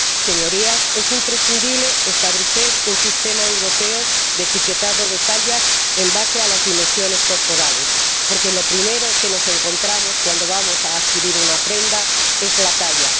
Señorías, es imprescindible establecer un sistema europeo de etiquetado de tallas basado en las dimensiones corporales, porque lo primero que nos encontramos cuando vamos a adquirir una prenda es la talla.